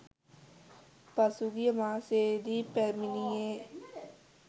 පසුගිය මාසයේදී පැමිණියේ